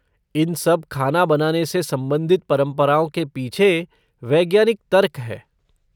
इन सब खाना बनाने से संबंधित परंपराओं के पीछ वैज्ञानिक तर्क है।